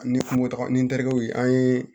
Ni moto ni n tɛkɛw ye an ye